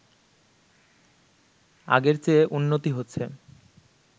আগের চেয়ে উন্নতি হচ্ছে